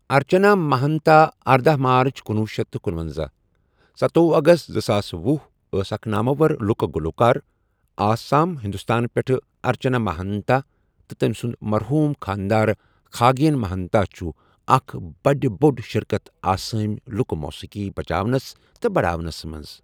ارچَنا مَہَانتا اردہَ مارٕچ کنُۄہ شیتھ تہٕ کنۄنزہَ ،ستوۄہُ اَگَست زٕساس وُہ أس اَکھ نامور لُکہٕ گلوٗکار آسام ہندوستان پؠٹھہٕ اَرچنا مَہَانتا تہٕ تٕمی سُنٛد مرحوٗم خاندار کھاگیٚن مہانتا چھُ اَکھ بڈ بوڈ شِرکتھ آسٲمی لُکہٕ موٗسیقی بچاونس تہٕ بڈہاونس مٕنٛز۔